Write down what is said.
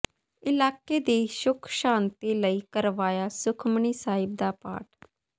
ਇਲਾਕੇ ਦੀ ਸੁੱਖ ਸ਼ਾਂਤੀ ਲਈ ਕਰਵਾਇਆ ਸੁਖਮਨੀ ਸਾਹਿਬ ਦਾ ਪਾਠ